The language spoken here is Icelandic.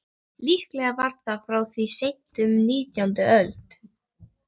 Líklega var það frá því seint á nítjándu öld.